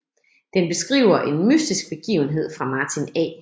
Den beskriver en mystisk begivenhed fra Martin A